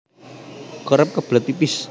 Kerep kebelet pipis